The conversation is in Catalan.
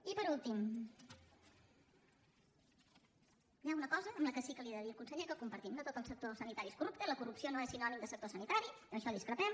i per últim hi ha una cosa que sí que li he de dir al conseller que compartim no tot el sector sanitari és corrupte i la corrupció no és sinònim de sector sanitari en això discrepem